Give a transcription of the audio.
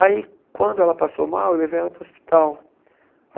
Aí, quando ela passou mal, eu levei ela para o hospital.